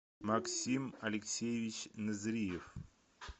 максим алексеевич незриев